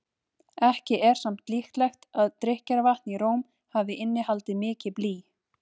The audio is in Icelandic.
Ekki er samt líklegt að drykkjarvatn í Róm hafi innihaldið mikið blý.